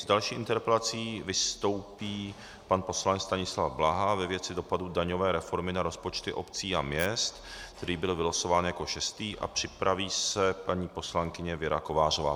S další interpelací vystoupí pan poslanec Stanislav Blaha ve věci dopadu daňové reformy na rozpočty obcí a měst, který byl vylosován jako šestý, a připraví se paní poslankyně Věra Kovářová.